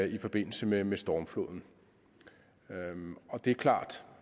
i forbindelse med med stormfloden det er klart